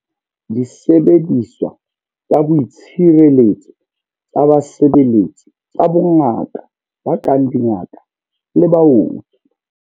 Disebediswa tsa boitshireletso tsa basebeletsi tsa bongaka ba kang dingaka le baoki.